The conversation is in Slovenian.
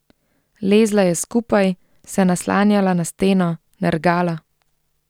Lezla je skupaj, se naslanjala na steno, nergala.